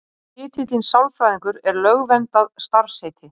Titillinn sálfræðingur er lögverndað starfsheiti.